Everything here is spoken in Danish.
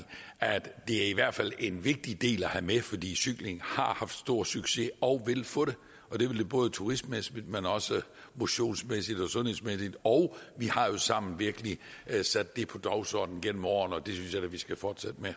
at det i hvert fald er en vigtig del at have med fordi cykling har haft stor succes og vil få det og det vil det både turistmæssigt men også motionsmæssigt og sundhedsmæssigt og vi har jo sammen virkelig sat det på dagsordenen gennem årene og det synes jeg da vi skal fortsætte